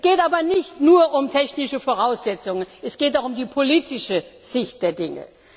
Es geht aber nicht nur um die technischen Voraussetzungen, es geht auch um die politische Sicht der Dinge.